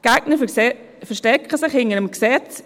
Die Gegner verstecken sich hinter dem Gesetz.